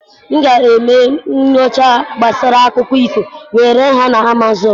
M ga-eme nyocha gbasara akụkọ ifo wee ree ha na Amazon.